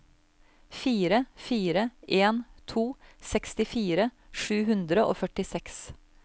fire fire en to sekstifire sju hundre og førtiseks